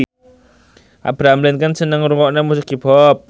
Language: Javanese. Abraham Lincoln seneng ngrungokne musik hip hop